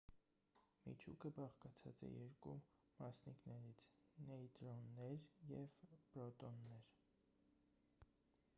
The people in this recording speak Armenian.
միջուկը բաղկացած է երկու մասնիկներից նեյտրոններ և պրոտոններ